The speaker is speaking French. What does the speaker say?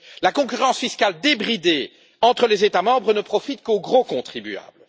La concurrence fiscale débridée entre les États membres ne profite qu'aux gros contribuables.